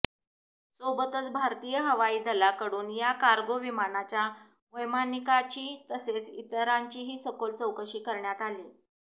सोबतच भारतीय हवाई दलाकडून या कार्गो विमानाच्या वैमानिकाची तसेच इतरांचीही सखोल चौकशी करण्यात आली